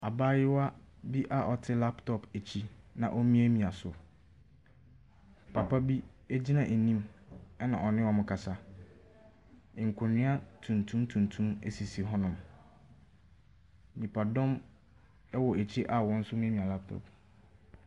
Abaayewa bi a ɔte laptɔp akyi, na omiamia so. Papa bi egyina anim ɛna ɔne ɔmo kasa. Nkonwa tuntum tuntum esisi hɔnom. Nnipadɔm ɛwɔ akyi a wɔn nso emiamia laptɔp.